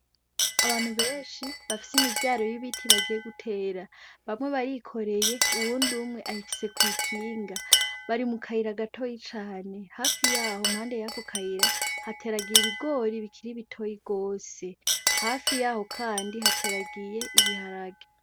Abantu benshi bafise imivyaro y'ibiti bagiye gutera. Bamwe barikoreye, uwundi ayifise kw'ikinga. Bari mu kayira gatoyi cane. Hafi yaho, impande y'ako kayira hateragiye ibigori bikiri bitoyi gose. Hafi yaho kandi hateragiye ibiharage.